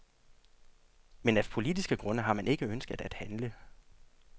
Men af politiske grunde har man ikke ønsket at handle.